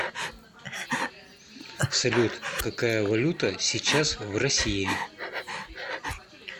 салют какая валюта сейчас в россии